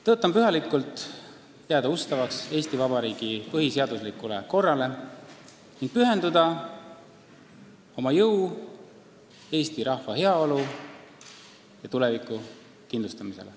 Tõotan pühalikult jääda ustavaks Eesti Vabariigi põhiseaduslikule korrale ning pühendada oma jõu eesti rahva heaolu ja tuleviku kindlustamisele.